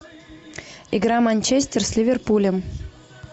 игра манчестер с ливерпулем